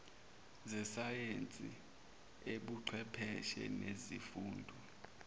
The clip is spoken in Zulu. zesayensi ubuchwepheshe nezifundo